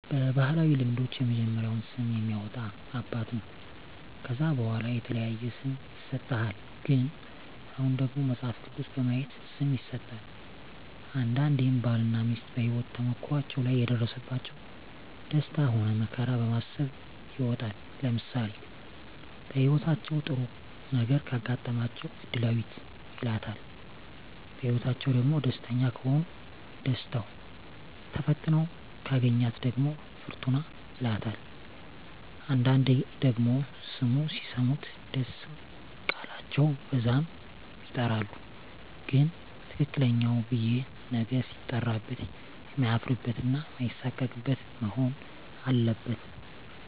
በባህላዊ ልምዶች የመጀመሪያውን ስም የሚያወጣ አባት ነው ከዛ በዋላ የተለያየ ስም ይሰጥሃል ግን አሁን ደግሞ መጸሀፍ ቅዱስ በማየት ስም ይሠጣል አንዳንዴም ባል እና ሜስት በሄወት ተሞክሮዎች ላይ የደረሰባቸው ደስታ ሆነ መከራ በማሰብ ይወጣል ለምሳሌ በህይወታቸው ጥሩ ነገረ ካጋጠማቸው እድላዌት ይላታል በህይወትአቸዉ ደግሞ ደስተኛ ከሆኑ ደስታው ተፈትነው ካገኛት ደግሞ ፍርቱና ይላታል አንዳንዴ ደግሞ ስሙ ሲሰሙት ደስ ቃላቸው በዛም ይጠራሉ ግን ትክክለኛው ብየ ነገ ሲጠራበት የማያፍርበት እና ማይሳቀቅበት መሆን አለበት